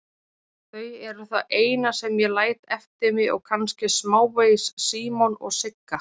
Þau eru það eina sem ég læt eftir mig og kannski smávegis Símon og Sigga.